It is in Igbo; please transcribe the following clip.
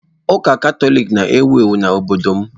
Ụka Katọlik na-ewu ewu n'obodo m.